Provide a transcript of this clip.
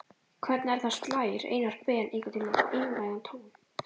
Hvernig er það, slær Einar Ben einhvern tímann einlægan tón?